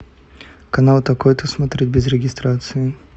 канал такой то смотреть без регистрации